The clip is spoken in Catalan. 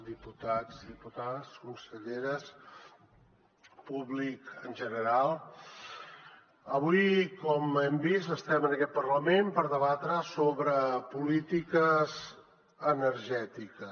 diputats diputades conselleres públic en general avui com hem vist estem en aquest parlament per debatre sobre polítiques energètiques